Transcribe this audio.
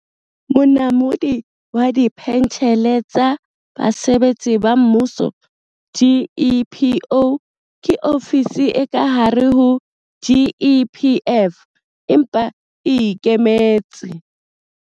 Monamodi wa Dipentjhele tsa Basebetsi ba Mmuso, GEPO, ke ofisi e ka hare ho GEPF, empa e e ikemetse.